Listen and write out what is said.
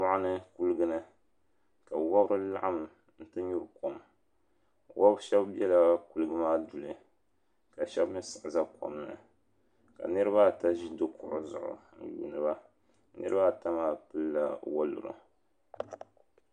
Moɣuni Kuligini ka wobri laɣim n ti nyuri kom wob'shɛba bela Kuliga maa duli ka shɛba mi siɣi za kom ni ka niriba ata ʒi di kuɣu zuɣu n yuuni ba niriba ata maa pilila woluri.